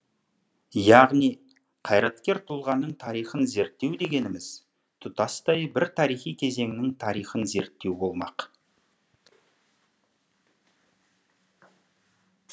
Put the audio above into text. яғни қайраткер тұлғаның тарихын зерттеу дегеніміз тұтастай бір тарихи кезеңнің тарихын зерттеу болмақ